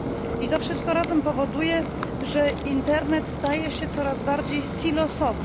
I to wszystko razem powoduje, że internet staje się coraz bardziej silosowy.